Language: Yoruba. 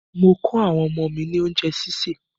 Mò kọ àwọn ọmọ mí ní oúnjẹ́ sísè.